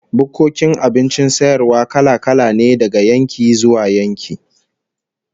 Bukkokin abincin sayarwa kala-kala ne daga yankin zuwa yanki